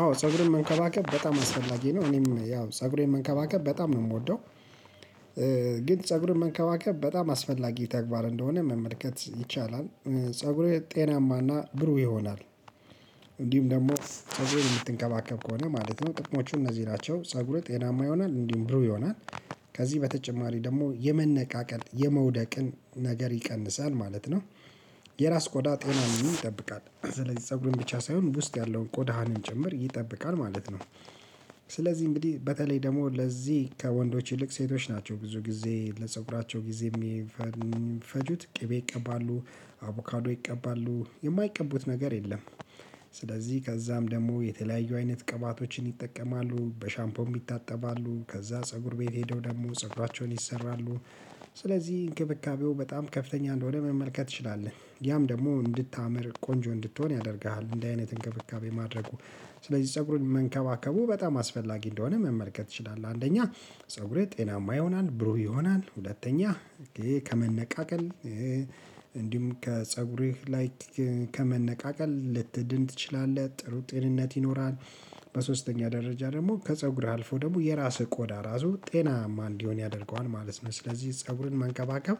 አዎ ፀጉርን መንከባከብ በጣም አስፈላጊ ነው እኔም ያው ፀጉሬን መንከባከብ በጣም ነው እምወደው። ግን ፀጉርን መንከባከብ በጣም አስፈላጊ ተግባር እንደሆነ መመልከት ይቻላል። ፀጉሬ ጤናማና ብሩህ ይሆናል። እንዲሁም ደሞ ፀጉሬን እምትከባከብ ከሆነ ማለት ነው ጥቅሞቹ እነዚህ ናቸው ፀጉርህ ጤናማ ይሆናል እንዲህ ብሩ ይሆናል። ከዚህ በተጨማሪ ደሞ የመነቃቀል የመውደቅን ነገር ይቀንሳል ማለት ነው። የራስ ቆዳ ጤናንም ይጠብቃል ስለዚህ ፀጉርህም ብቻ ሳይሆን ውስጥ ያለውን ቆዳህንም ጭምር ይጠብቃል ማለት ነው። ስለዚህ እንግዲህ በተለይ ደሞ ለዚህ ከወንዶች ይልቅ ሴቶች ናቸው ብዙ ጊዜ ለፀጉራቸው ጊዜ እሚፈጁት ቅቤ ይቀባሉ አቮካዶ ይቀባሉ የማይቀቡት ነገር የለም። ስለዚህ ከዛም ደሞ የተለያዩ አይነት ቅባቶችን ይጠቀማሉ በሻምፖም ይታጠባሉ ከዛ ፀጉር ቤት ሄደው ደግሞ ፀረባቸውን ይሰራሉ። ስለዚህ እንክብካቤው በጣም ከፍተኛ እንደሆነ መመልከት ትችላለህ ያም ደግሞ እንድታምር ቆንጆ እንድትሆን ያደርግሃል እንዲህ አይነት እንክብካቤ ማድረጉ። ስለዚህ ፀጉርን መንከባከቡ በጣም አስፈላጊ እንደሆነ መመልከት ትችላለህ። አንደኛ ፀጉርህ ጤናማ ይሆናል ብሩህ ይሆናል ሁለተኛ ከመነቃቀል እንዲሁም ከፀጉሬህ ላይክ ከመነቃቀል ልትድን ትችላለህ ጥሩ ጤንነት ይኖራል። በሶስተኛ ደረጃ ደሞ ከፀጉርህ አልፎ ደግሞ የራስህ ቆዳ ራሱ ጤናማ እንዲሆን ያደርገዋል ማለት ነው። ስለዚህ ፀጉርን መንከባከብ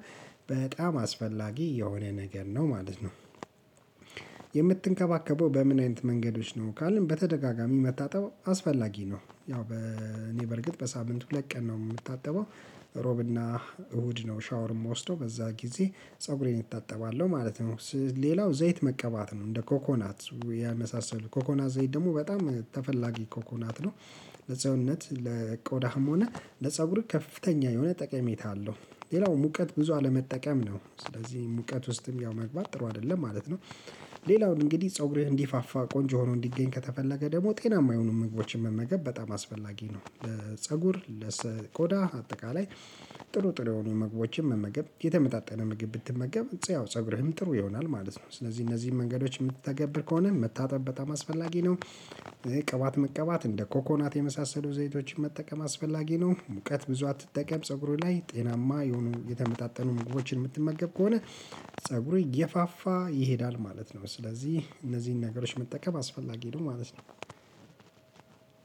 በጣም አስፈላጊ የሆነ ነገር ነው ማለት ነው። የምትንከባከበው በምን አይነት መንገዶች ነው ካልን በተደጋጋሚ መታጠብ አስፈላጊ ነው። ያው እኔ በእርግጥ በሳምንቱ ሁለት ቀን ነው እምታጠበው ሮብና እሁድ ነው ሻወር እምወስደው በዛ ጊዜ ፀጉሬን እታጠባለው ማለት ነው። ሌላው ዘይት መቀባት ነው እንደ ኮኮናት የመሳሰሉ ኮኮናት ዘይት ደግሞ በጣም ተፈላጊ ኮኮናት ነው። ለሰውነት ለቆዳህም ሆነ ለጸጉርህ ከፍተኛ የሆነ ጠቀሜታ አለው። ሌላው ሙቀት ብዙ አለመጠቀም ነው ስለዚህ ሙቀት ውስጥም ያው መግባት ጥሩ አይደለም ማለት ነው። ሌላውን እንግዲህ ፀጉርህ እንዲፋፋ ቆንጆ ሆኖ እንዲገኝ ከተፈለገ ደሞ ጤናማ የሆኑ ምግቦችን መመገብ በጣም አስፈላጊ ነው። ለፀጉር ለቆዳ አጠቃላይ ጥሩ ጥሩ የሆኑ መግባባቶችን መመገብ የተመጣጠነ ምግብ ብትመገብ ፀጉርህም ጥሩ ይሆናል ማለት ነው። ስለዚህ እነዚህን መንገዶች እምትተገብር ከሆነ መታጠብ በጣም አስፈላጊ ነው። ቅባት መቅባት እንደ ኮኮናት የመሳሰሉ ዘይቶችን መጠቀም አስፈላጊ ነው ሙቀት ብዙ አትጠቀም ፀጉርህ ላይ ጤናማ የሆኑ የተመጣጠኑ ምግቦችን እምትመገብ ከሆነ ፀጉርህ እየፋፋ ይሄዳል ማለት ነው። ስለዚህ እነዚህን ነገሮች መጠቀም አስፈላጊ ነው ማለት ነው።